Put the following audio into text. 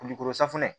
Kulukoro safunɛ